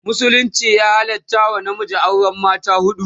musulunci ya halatta wa namiji auran mata huɗu